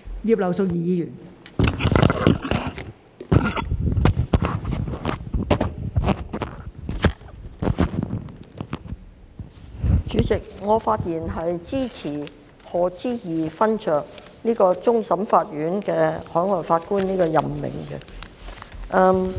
代理主席，我發言支持任命賀知義勳爵為終審法院其他普通法適用地區非常任法